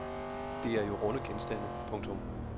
Det er jo runde genstande. punktum